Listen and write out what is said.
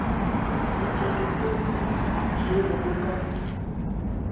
sephetho se se tšerwego ka